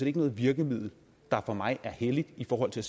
ikke noget virkemiddel der for mig er helligt i forhold til